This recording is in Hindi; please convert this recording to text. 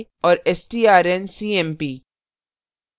और strncmp